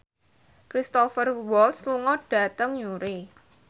Cristhoper Waltz lunga dhateng Newry